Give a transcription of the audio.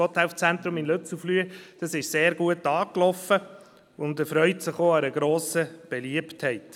Das Gotthelf-Zentrum in Lützelflüh ist sehr gut angelaufen und erfreut sich grosser Beliebtheit.